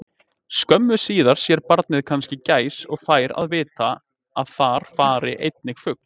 Skömmu síðar sér barnið kannski gæs og fær að vita að þar fari einnig fugl.